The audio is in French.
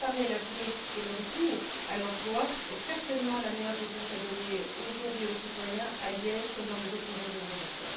Préparer l'avenir et le retour à l'emploi est certainement la meilleure réponse à donner aujourd'hui aux citoyens, à Liège comme dans nos autres régions d'Europe.